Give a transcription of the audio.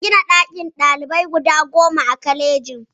An gina ɗakunan kwanan ɗalibai guda goma a kwalejin